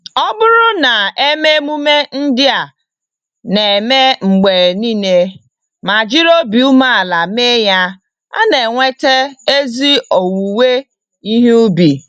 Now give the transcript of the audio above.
Ọbụrụ na eme emume ndị a na-eme mgbe niile ma jiri obi umeala mee ya, ana enweta ezi owuwe ihe ubi